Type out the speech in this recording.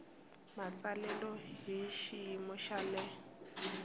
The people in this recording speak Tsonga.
matsalelo hi xiyimo xa le